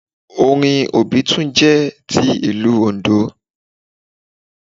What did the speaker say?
Orin obitun jẹ́ ti ilú oǹdó